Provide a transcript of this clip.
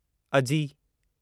अजी